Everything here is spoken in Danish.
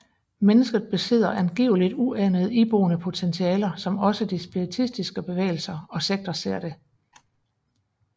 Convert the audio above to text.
Mennesket besidder angiveligt uanede iboende potentialer som også de spiritistiske bevægelser og sekter ser det